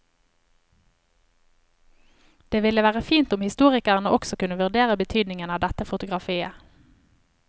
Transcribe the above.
Det ville være fint om historikerne også kunne vurdere betydningen av dette fotografiet.